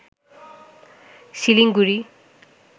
Siliguri